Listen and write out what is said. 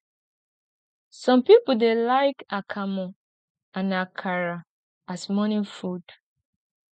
some pipo dey like akamu and akara as morning food